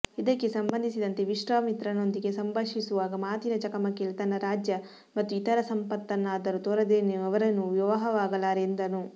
ಇದಕ್ಕೆ ಸಂಬಂಧಿಸಿದಂತೆ ವಿಶ್ವಾಮಿತ್ರನೊಂದಿಗೆ ಸಂಭಾಷಿಸುವಾಗ ಮಾತಿನ ಚಕಮಕಿಯಲ್ಲಿ ತನ್ನ ರಾಜ್ಯ ಮತ್ತು ಇತರೆ ಸಂಪತ್ತನ್ನಾದರೂ ತೊರೆದೇನು ಅವರನ್ನು ವಿವಾಹವಾಗಲಾರೆ ಎಂದನು